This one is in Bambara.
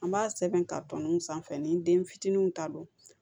An b'a sɛbɛn ka tɔnɔ sanfɛ ni den fitininw ta don